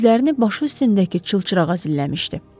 Gözlərini başı üstündəki çılçırağa zilləmişdi.